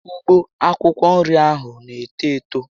Ugbo akwụkwọ nri ahụ na eto Eto